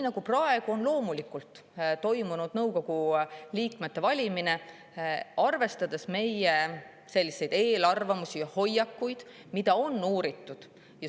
Praegu on nõukogu liikmeid valides loomulikult meie eelarvamustest ja hoiakutest, mida on ka uuritud.